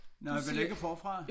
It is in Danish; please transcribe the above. Nej vel ikke forfra